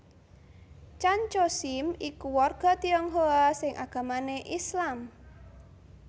Tjan Tjoe Siem iku warga Tionghoa sing agamané Islam